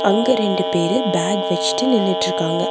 அங்க ரெண்டு பேரு பேக் வெச்சுட்டு நின்னுட்ருக்காங்க.